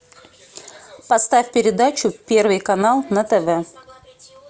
поставь передачу первый канал на тв